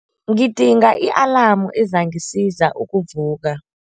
Ngidinga i-alamu ezangisiza ukuvuka.